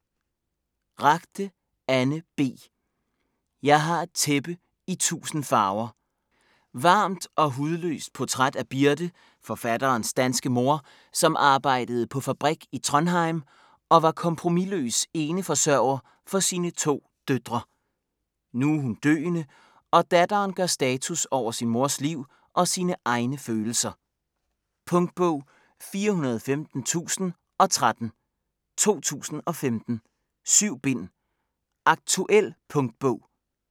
Ragde, Anne B.: Jeg har et tæppe i tusind farver Varmt og hudløst portræt af Birte, forfatterens danske mor, som arbejdede på fabrik i Trondheim og var kompromisløs eneforsørger for sine to døtre. Nu er hun døende, og datteren gør status over sin mors liv og sine egne følelser. Punktbog 415013 2015. 7 bind. Aktuel punktbog